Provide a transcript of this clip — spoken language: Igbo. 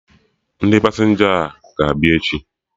Ndị pasenja a ga-abịa echi?